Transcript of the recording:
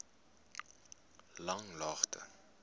langlaagte